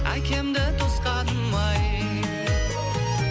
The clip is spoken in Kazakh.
әкемді тосқаным ай